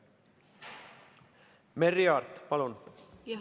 Merry Aart, palun!